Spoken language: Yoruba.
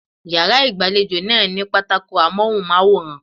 Yàrá ìgbàlejò náà ní pátákó Amóhùnmáwòrán.